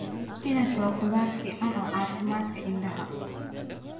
Spinach waa khudrad fiican oo caafimaadka indhaha.